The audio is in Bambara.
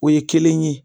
O ye kelen ye